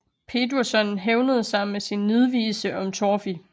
Pétursson hævnede sig med en nidvise om Torfi